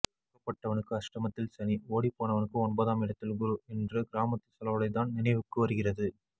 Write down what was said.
அகப்பட்டவனுக்கு அஷ்டமத்தில் சனி ஓடி போனவனுக்கு ஒன்பதாம் இடத்தில் குரு என்று கிராமத்து சொலவடைதான் நினைவுக்கு வருகிறது